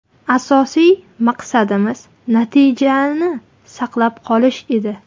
Asosiy maqsadimiz natijani saqlab qolish edi.